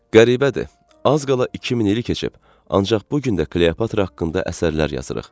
Qəribədir, az qala 2000 ili keçib, ancaq bu gün də Kleopatra haqqında əsərlər yazırıq.